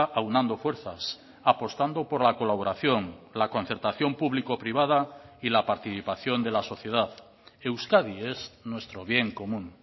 aunando fuerzas apostando por la colaboración la concertación público privada y la participación de la sociedad euskadi es nuestro bien común